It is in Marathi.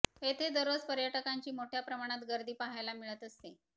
येथे दररोज पर्यटकांची मोठ्या प्रमाणात गर्दी पहायला मिळत असते